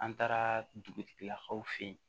An taara dugutigilakaw fɛ yen